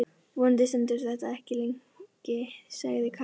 Vonandi stendur þetta ekki lengi, sagði Karen.